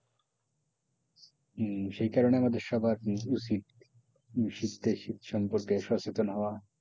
হম সেই কারণে আমাদের সবার উচিৎ শীতে শীত সম্পর্কে সচেতন হওয়া,